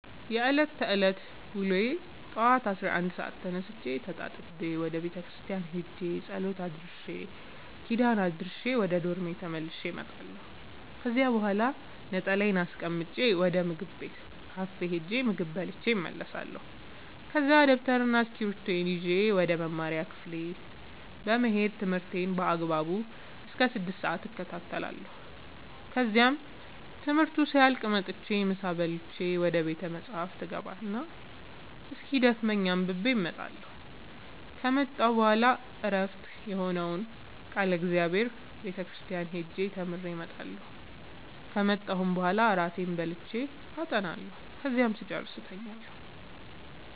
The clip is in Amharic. የእኔ የዕለት ተዕለት ውሎዬ ጠዋት አስራ አንድ ሰአት ተነስቼ ተጣጥቤ ወደ ቤተክርስቲያን ሄጄ ጸሎት አድርሼ ኪዳን አድርሼ ወደ ዶርሜ ተመልሼ እመጣለሁ ከዚያ በኋላ ነጠላዬን አስቀምጬ ወደ ምግብ ቤት ካፌ ሄጄ ምግብ በልቼ እመለሳለሁ ከዛ ደብተርና እስኪብርቶዬን ይዤ ወደ መማሪያ ክፍሌ በመሄድ ትምህርቴን በአግባቡ እስከ ስድስት ሰአት እከታተላለሁ ከዚያም ትምህርቱ ሲያልቅ መጥቼ ምሳ በልቼ ወደ ቤተ መፅሀፍ እገባ እና እስኪደክመኝ አንብቤ እመጣለሁ ከመጣሁ በኋላ ዕረፍት የሆነውን ቃለ እግዚአብሔር ቤተ ክርስቲያን ሄጄ ተምሬ እመጣለሁ ከመጣሁም በኋላ እራቴን በልቼ አጠናለሁ ከዚያም ስጨርስ እተኛለሁ።